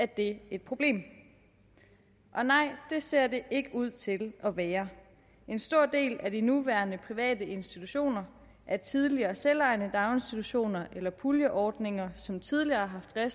det et problem og nej det ser det ikke ud til at være en stor del af de nuværende private institutioner er tidligere selvejende daginstitutioner eller puljeordninger som tidligere har